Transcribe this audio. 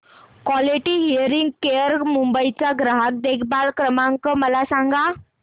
quality hearing care Mumbai चा ग्राहक देखभाल क्रमांक मला सांगा